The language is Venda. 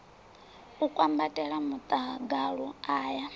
a kwambatela muḽagalu a ya